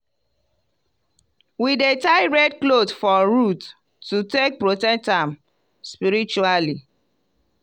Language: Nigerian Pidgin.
we dey tie red cloth for root to take protect am spiritually.